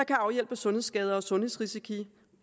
kan afhjælpe sundhedsskader og sundhedsrisici